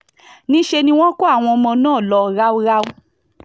níṣẹ́ ni wọ́n kó àwọn ọmọ náà lọ ráúráú